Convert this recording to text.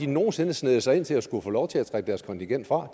nogen sinde sneget sig ind til at få lov til at trække deres kontingent fra